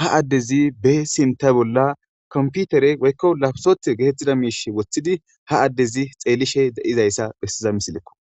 ha addezi be sinta bolla komputere woykko lafsoth getettida miish wothidi ha addezi xeellishe de7izayssa bhessiza misilekko.